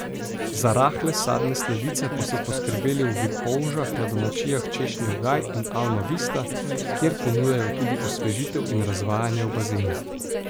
Za rahle sadne sladice pa so poskrbeli v Vipolžah na domačijah Češnjev gaj in Alma Vista, kjer ponujajo tudi osvežitev in razvajanje v bazenih.